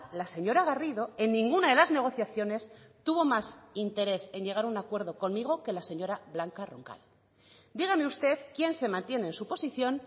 la señora garrido en ninguna de las negociaciones tuvo más interés en llegar a un acuerdo conmigo que la señora blanca roncal dígame usted quién se mantiene en su posición